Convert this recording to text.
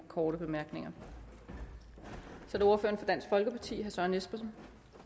korte bemærkninger så er det ordføreren for dansk folkeparti herre søren espersen